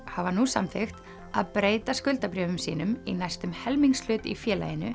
hafa nú samþykkt að breyta skuldabréfum sínum í næstum helmingshlut í félaginu